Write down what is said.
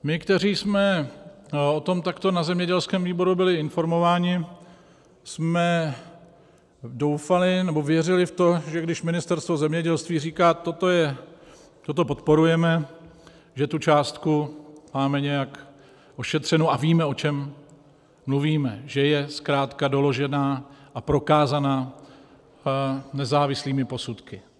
My, kteří jsme o tom takto na zemědělském výboru byli informováni, jsme doufali, nebo věřili v to, že když Ministerstvo zemědělství říká "toto podporujeme", že tu částku máme nějak ošetřenu a víme, o čem mluvíme, že je zkrátka doložená a prokázaná nezávislými posudky.